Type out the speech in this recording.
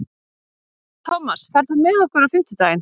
Tómas, ferð þú með okkur á fimmtudaginn?